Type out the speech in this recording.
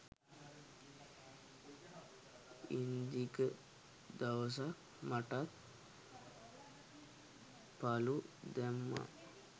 ඉන්දික දවසක් මටත් පලු දැම්ම